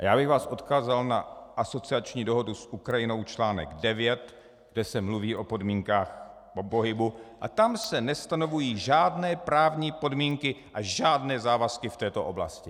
A já bych vás odkázal na asociační dohodu s Ukrajinou článek 9, kde se mluví o podmínkách pohybu, a tam se nestanovují žádné právní podmínky a žádné závazky v této oblasti.